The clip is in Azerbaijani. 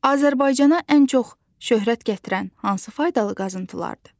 Azərbaycana ən çox şöhrət gətirən hansı faydalı qazıntılardır?